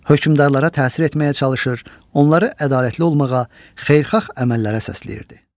Hökmdarlara təsir etməyə çalışır, onları ədalətli olmağa, xeyirxah əməllərə səsləyirdi.